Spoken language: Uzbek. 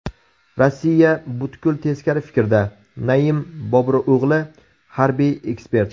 Rossiya butkul teskari fikrda”, Naim Boburo‘g‘li, harbiy ekspert.